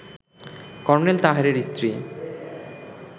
colonel তাহেরের স্ত্রী